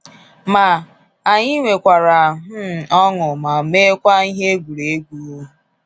Ma, anyị nwekwara um ọṅụ ma mekwaa ihe egwuruegwu.